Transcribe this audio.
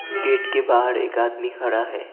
Gate के बाहर एक आदमी खड़ा है।